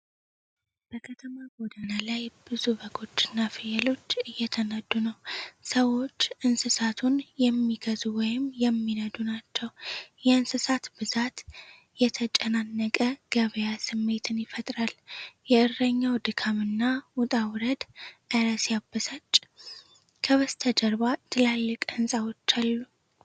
በከተማ ጎዳና ላይ ብዙ በጎች እና ፍየሎች እየተነዱ ነው። ሰዎች እንስሳቱን የሚገዙ ወይም የሚነዱ ናቸው። የእንስሳት ብዛት የተጨናነቀ ገበያ ስሜትን ይፈጥራል። የእረኛው ድካም እና ውጣ ውረድ 'እረ ሲያበሳጭ'። ከበስተጀርባ ትላልቅ ሕንፃዎች አሉ።